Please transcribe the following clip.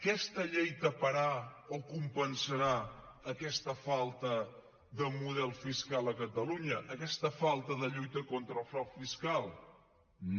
aquesta llei taparà o compensarà aquesta falta de model fiscal a catalunya aquesta falta de lluita contra el frau fiscal no